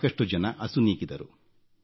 ಸಾಕಷ್ಟು ಜನರು ಅಸುನೀಗಿದರು